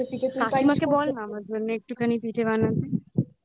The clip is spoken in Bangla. কাকিমাকে বল আমার জন্য একটুখানি পিঠে বানাতে